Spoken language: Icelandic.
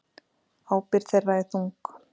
Ábyrgð þeirra er þung.